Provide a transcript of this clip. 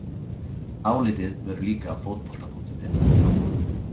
Álitið verður líka á Fótbolta.net á morgun!